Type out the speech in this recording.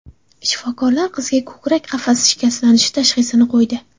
Shifokorlar qizga ko‘krak qafasi shikastlanishi tashxisini qo‘ydi.